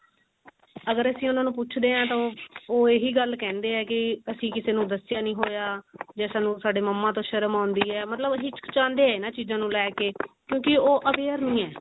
ਅਗ੍ਰਣ ਉਹਨਾਂ ਨੂੰ ਅਸੀਂ ਪੁਛਦੇ ਆ ਤਾਂ ਉਹ ਇਹੀ ਗੱਲ ਹੈ ਕੀ ਅਸੀਂ ਕਿਸੇ ਨੂੰ ਦਸਿਆ ਨਹੀਂ ਹੋਇਆ ਜਾਂ ਸਾਨੂੰ ਸਾਡੇ ਮੰਮਾ ਤੋਂ ਸ਼ਰਮ ਆਉਂਦੀ ਹੈ ਮਤਲਬ ਹਿਚਕਿਚੰਦੇ ਆਕਿਉਂਕਿ ਉਹ aware ਨਹੀਂ ਹੈ